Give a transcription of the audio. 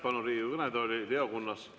Palun Riigikogu kõnetooli Leo Kunnase.